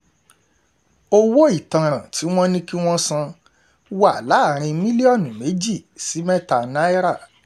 owó ìtanràn tí wọ́n ní kí wọ́n san wà láàrin mílíọ̀nù méjì sí mẹ́ta náírà